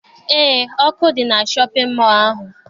Eé, ọkụ dị na shọpịn mọọ ahụ.